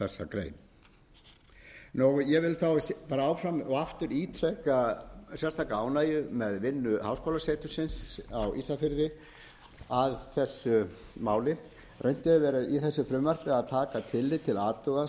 grein ég vil bara áfram og aftur ítreka sérstaka ánægju með vinnu háskólasetursins á ísafirði að þessu máli reynt hefur leið í þessu frumvarpi að taka tillit til athuga svo sem